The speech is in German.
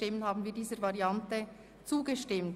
Sie haben der Variante des Ordnungsantrags 10 zugestimmt.